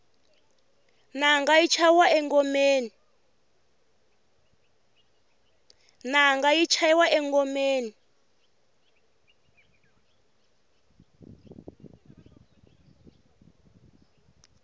nanga yi chayiwa engomeni